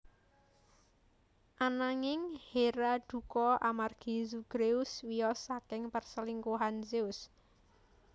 Anangin Hera dukha amargi Zagreus wiyos saking perselingkuhan Zeus